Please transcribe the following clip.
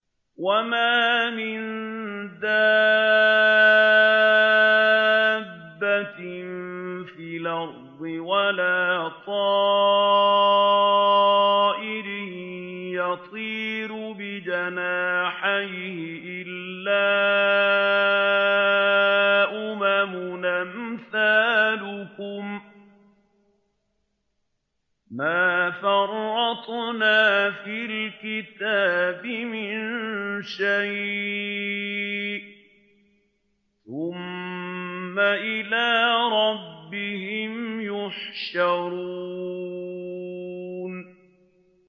وَمَا مِن دَابَّةٍ فِي الْأَرْضِ وَلَا طَائِرٍ يَطِيرُ بِجَنَاحَيْهِ إِلَّا أُمَمٌ أَمْثَالُكُم ۚ مَّا فَرَّطْنَا فِي الْكِتَابِ مِن شَيْءٍ ۚ ثُمَّ إِلَىٰ رَبِّهِمْ يُحْشَرُونَ